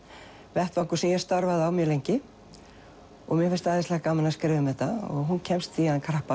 vettvangur sem ég starfaði á mjög lengi mér finnst æðislega gaman að skrifa um þetta og hún kemst í hann krappan